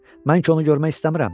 Mən ki onu görmək istəmirəm.